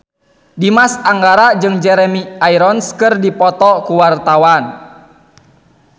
Dimas Anggara jeung Jeremy Irons keur dipoto ku wartawan